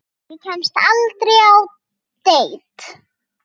Ég kemst aldrei á deit.